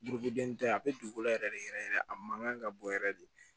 Burukɛnin tɛ yen a bɛ dugukolo yɛrɛ de yɛrɛ yɛrɛ a man kan ka bɔ yɛrɛ de